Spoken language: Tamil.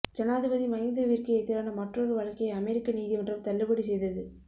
ஜனாதிபதி மஹிந்தவிற்கு எதிரான மற்றொரு வழக்கை அமெரிக்க நீதிமன்றம் தள்ளுபடி செய்தது